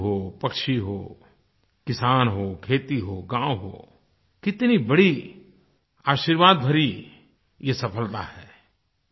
पशु हो पक्षी हो किसान हो खेती हो गाँव हो कितनी बड़ी आशीर्वाद भरी ये सफलता है